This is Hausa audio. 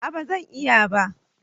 Aa bazan iya ba